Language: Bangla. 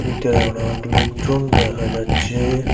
ভিতরে অনেক লোকজন দেখা যাচ্চে।